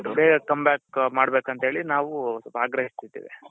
ಬೇಗ come back ಮಾಡ್ಬೇಕು ಅಂತ ಹೇಳಿ ನಾವು ಆಗ್ರಹಿಸ್ತಿದ್ದೇವೆ .